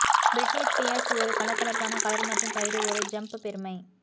Britney Spears ஒரு கலகலப்பான colour மற்றும் கயிறு ஒரு ஜம்ப் பெருமை